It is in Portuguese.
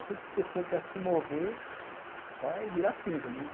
Aquele tipo de pessoa que se morrer, vai virar cinza, né?